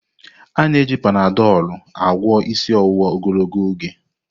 Ana eji Panadolu agwọ isi ọwụwa ogologo oge.